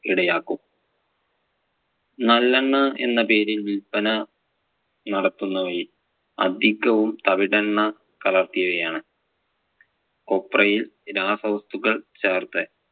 ഇടയാക്കും. നല്ലെണ്ണ എന്ന പേരിൽ വില്പന നടത്തുന്നവയിൽ അധികവും തവിടെണ്ണ കലർത്തിയവയാണ്. കൊപ്രായിൽ രാസവസ്തുക്കൾ ചേർത്ത്